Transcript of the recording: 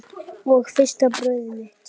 Og fyrsta barnið mitt.